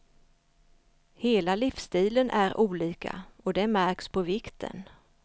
Hela livsstilen är olika, och det märks på vikten.